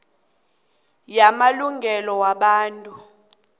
kukhomitjhini yamalungelo wabantu